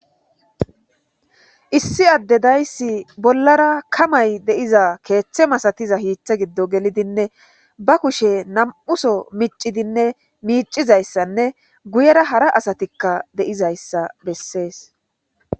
Issi adey deyis bollara kamay diza kethe masasiza ketha giddo gelidine bakushe na'muso michidine micidaysane guyera hara asatika deizaysa beses